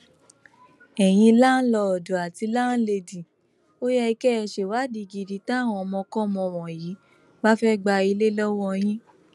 ẹyin láǹlọọdù àti láńlẹdì ò yẹ kẹ ẹ ṣèwádìí gidi táwọn ọmọkọmọ wọnyí bá fẹẹ gba ilé lọwọ yín